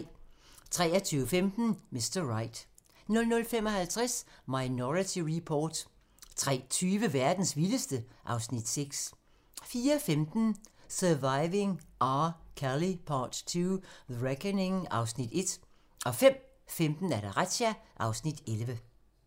23:15: Mr. Right 00:55: Minority Report 03:20: Verdens vildeste ... (Afs. 6) 04:15: Surviving R. Kelly Part II: The Reckoning (Afs. 1) 05:15: Razzia (Afs. 11)